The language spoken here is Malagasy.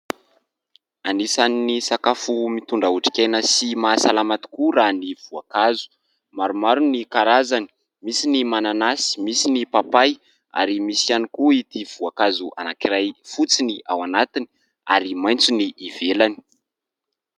Anisan'ny sakafo mitondra otrik'aina sy maha salama tokoa raha ny voankazo. Maromaro ny karazany, misy ny mananasy, misy ny papay ary misy ihany koa ity voankazo anankiray fotsy ny ao anatiny ary maitso ny ivelany.